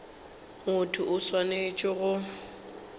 motho yo a swanetšego go